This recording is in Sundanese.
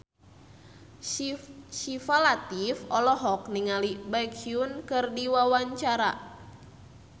Syifa Latief olohok ningali Baekhyun keur diwawancara